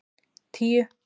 tíu